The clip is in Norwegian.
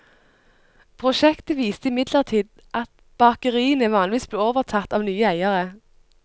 Prosjektet viste imidlertid at bakeriene vanligvis ble overtatt av nye eiere.